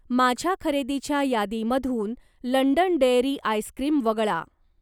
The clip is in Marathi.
माझ्या खरेदीच्या यादीमधून लंडन डेअरी आइस्क्रीम वगळा